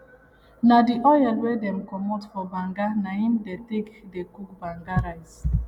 na the oil wey dem comot for banga na im dey take dey cook banga rice